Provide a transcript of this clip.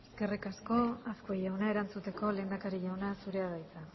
eskerrik asko azkue jauna erantzuteko lehendakari jauna zurea da hitza